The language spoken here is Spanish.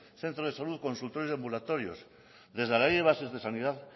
centros de salud o consultorios de ambulatorios desde la ley de bases de sanidad